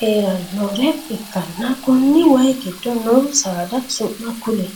heeranore ikanna konni wayi gido noo saada su'ma kuli?